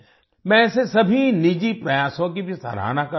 मैं ऐसे सभी निजी प्रयासों की भी सराहना करता हूँ